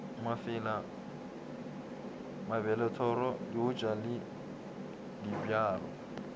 mafela mabelethoro leotša le dibjalo